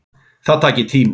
Það taki tíma.